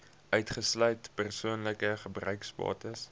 uitgesluit persoonlike gebruiksbates